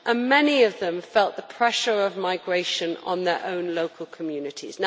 many of them felt the pressure of migration on their own local communities.